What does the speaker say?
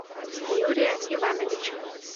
юрия ивановича